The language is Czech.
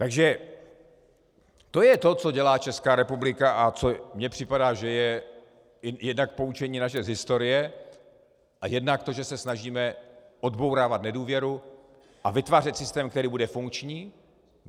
Takže to je to, co dělá Česká republika a co mně připadá, že je jednak poučení naše z historie a jednak to, že se snažíme odbourávat nedůvěru a vytvářet systém, který bude funkční.